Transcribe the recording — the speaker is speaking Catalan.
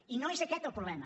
i no és aquest el problema